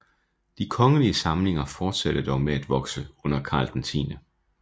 De kongelige samlinger fortsatte dog med at vokse under Karl 10